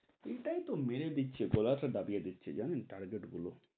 এটাই তো মেরে দিচ্ছে, গলা টা দাবিয়ে দিচ্ছে জানেন, target গুলো,